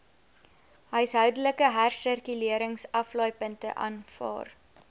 huishoudelike hersirkuleringsaflaaipunte aanvaar